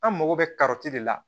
An mago bɛ karɔti de la